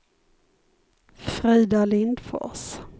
Frida Lindfors